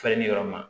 Falen ni yɔrɔ ma